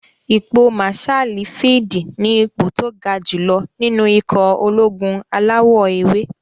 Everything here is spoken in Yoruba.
Ipò màsáàlì fíìdì ní ipò tó ga jù lọ nínú ikọ̀ ológun alawọ̀-ewé